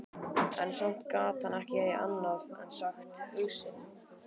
En samt gat hann ekki annað en sagt hug sinn.